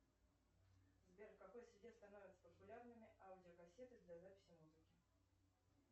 сбер в какой среде становятся популярными аудиокассеты для записи музыки